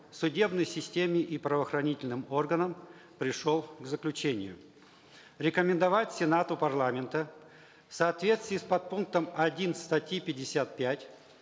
судебной системе и правоохранительным органам пришел к заключению рекомендовать сенату парламента в соответствии с подпунктом один статьи пятьдесят пять